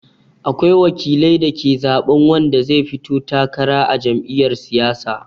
Akwai wakilai da ke zaɓan wanda zai fito takara a jam'iyar siyasa.